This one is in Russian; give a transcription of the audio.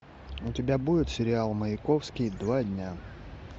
у тебя будет сериал маяковский два дня